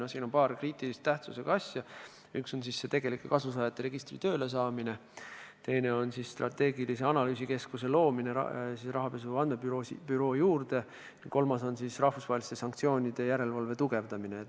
Siin on paar-kolm kriitilise tähtsusega asja: üks on see tegelike kasusaajate registri töölesaamine, teine on rahapesu andmebüroo juurde strateegilise analüüsikeskuse loomine ja kolmas on rahvusvaheliste sanktsioonide järelevalve tugevdamine.